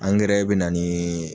Angɛrɛ bɛ na niii.